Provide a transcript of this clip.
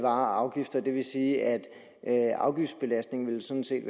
afgifter det vil sige at at afgiftsbelastningen sådan set